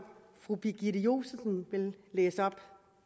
fru birgitte josefsen vil læse op